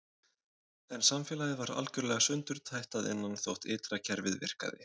En samfélagið var algjörlega sundurtætt að innan þótt ytra kerfið virkaði.